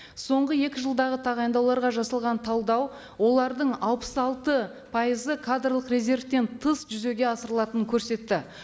соңғы екі жылдағы тағайындауларға жасалған талдау олардың алпыс алты пайызы кадрлық резервтен тыс жүзеге асырылатынын көрсетті